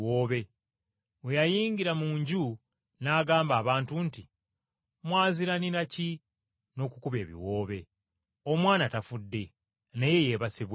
Bwe yayingira mu nju n’agamba abantu nti, “Mwaziiranira ki n’okukuba ebiwoobe? Omwana tafudde naye yeebase bwebasi!”